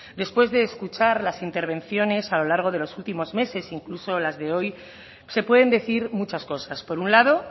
después de escuchar las intervenciones a lo largo de los últimos meses incluso las de hoy se pueden decir muchas cosas por un lado